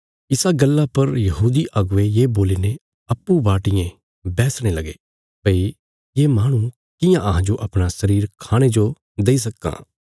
इसा गल्ला पर यहूदी अगुवे ये बोलीने अप्पूँ बाटियें बैह्सणे लगे भई ये माहणु कियां अहांजो अपणा शरीर खाणे जो देई सक्कां